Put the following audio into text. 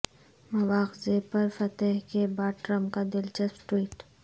مواخذے پر فتح کے بعد ٹرمپ کا دلچسپ ٹوئٹ